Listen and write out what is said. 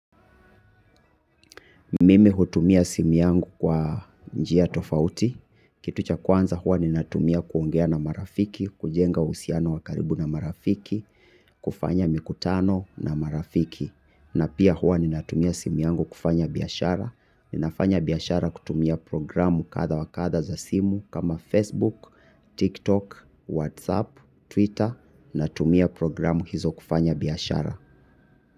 Mimi hutumia simu yangu kwa njia tofauti, kitu cha kwanza hua ninatumia kuongea na marafiki, kujenga usiano wakaribu na marafiki, kufanya mikutano na marafiki. Na pia hua ninatumia simu yangu kufanya biyashara, ninafanya biyashara kutumia programu katha wakatha za simu kama Facebook, TikTok, Whatsapp, Twitter, na tumia programu hizo kufanya biyashara.